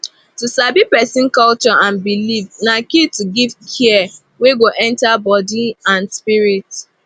to sabi person culture and belief na key to give care wey go enter body and spirit